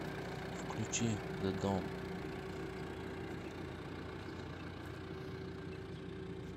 включи зэ дом